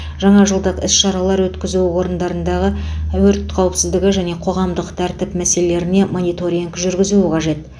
жаңажылдық іс шаралар өткізу орындарындағы өрт қауіпсіздігі және қоғамық тәртіп мәселелеріне мониторинг жүргізуі қажет